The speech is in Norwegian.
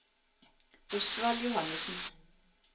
Osvald Johannessen